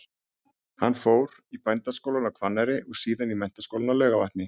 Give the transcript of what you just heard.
Hann fór í Bændaskólann á Hvanneyri og síðan í Menntaskólann á Laugarvatni.